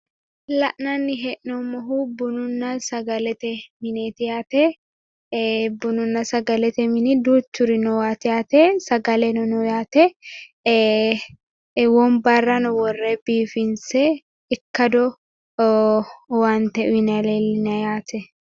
La'nanni hee'noommohu bununna sagalete mineeti yaate. Bununna sagalete mini duuchuri noowaati yaate sagaleno no yaate wombarrano worre biifinse ikkado owaante uyinayi leellinayi yaate.